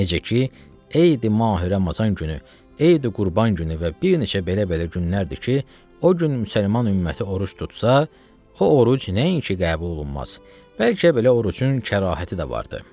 Necə ki, Eydi Mahi Ramazan günü, Eydi Qurban günü və bir neçə belə-belə günlərdir ki, o gün müsəlman ümməti oruc tutsa, o oruc nəinki qəbul olunmaz, bəlkə belə orucun kərahəti də vardı.